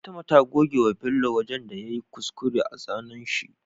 Fatima ta goge wa bello wajan da yayi kuskure a zanan shi